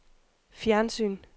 fjernsyn